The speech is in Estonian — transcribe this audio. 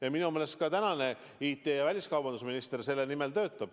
Ja minu meelest ka IT- ja väliskaubanduse minister selle nimel töötab.